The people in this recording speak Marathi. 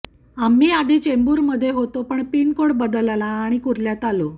आम्ही आधी चेंबूरमधे होतो पण पिनकोड बदलला आणि कुर्ल्यात आलो